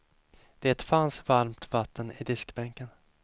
Det fanns varmt vatten i diskbänken.